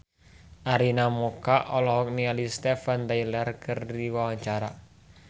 Arina Mocca olohok ningali Steven Tyler keur diwawancara